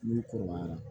N'u kɔrɔbayara